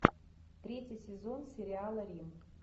третий сезон сериала рим